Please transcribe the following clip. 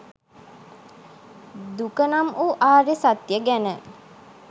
දුක නම් වූ ආර්ය සත්‍යය ගැන